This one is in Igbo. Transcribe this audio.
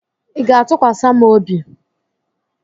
ị ga-atụkwasị m obi?